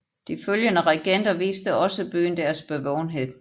De følgende regenter viste også byen deres bevågenhed